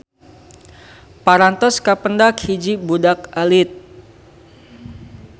Parantos kapendak hiji budak alit.